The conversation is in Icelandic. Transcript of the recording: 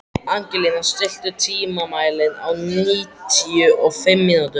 Angelína, stilltu tímamælinn á níutíu og fimm mínútur.